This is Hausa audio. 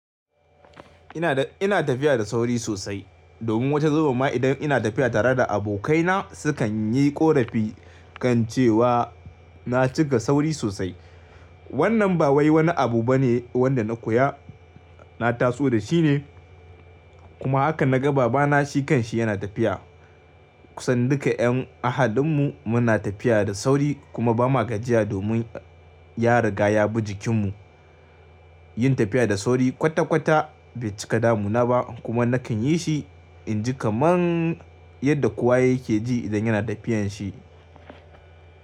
Ina da, ina tafiya da sauri sosai domin wata zubin ma idan ina tafiya tare da abokai na sukan yi ƙorafi kan cewa na cika sauri sosai. Wannan ba wai wani abu bane wanda na koya, na taso da shi ne kuma haka na ga baba na shi kan shi yana tafiya. Kusan duka yan ahalin mu muna tafiya da sauri kuma ba ma gajiya domin ya riga ya bi jikin mu. Yin tafiya da sauri kwata kwata bai cika damuna ba kuma nakan yi shi inji kaman yadda kowa yake ji idan yana tafiyan shi.